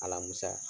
Alamisa